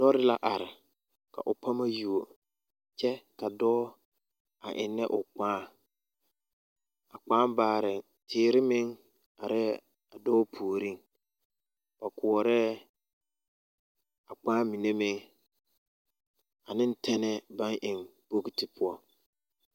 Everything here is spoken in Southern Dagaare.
Lɔɔre la are ka o pama yuo kyɛ ka dɔɔ a eŋnɛ o kpaa a kpaa baarɛɛ teere meŋ arɛɛ a dɔɔ puoriŋ ba koɔrɛɛ a kpaa mine meŋ ane tɛnɛɛ baŋ eŋ bogti poɔ.